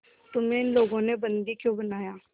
तुम्हें इन लोगों ने बंदी क्यों बनाया